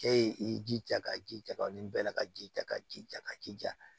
Cɛ ye i jija ka ji jaja nin bɛɛ la ka jija ka ji ja ka jija